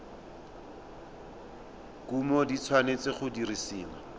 kumo di tshwanetse go dirisiwa